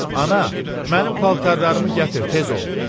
Ana, mənim paltarlarımı gətir, tez ol.